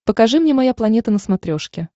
покажи мне моя планета на смотрешке